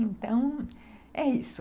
Então, é isso.